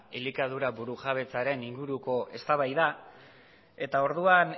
elikadura burujabetzaren inguruko eztabaida eta orduan